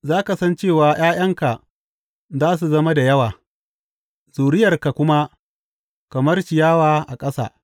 Za ka san cewa ’ya’yanka za su zama da yawa, zuriyarka kuma kamar ciyawa a ƙasa.